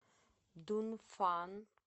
дунфан